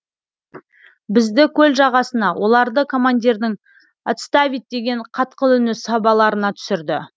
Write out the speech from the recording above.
бізді көл жағасына оларды командирдің отставить деген қатқыл үні сабаларына түсірді